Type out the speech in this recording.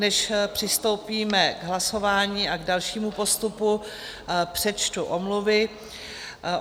Než přistoupíme k hlasování a k dalšímu postupu, přečtu omluvy.